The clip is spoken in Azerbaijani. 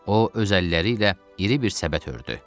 O öz əlləri ilə iri bir səbət hörtdü.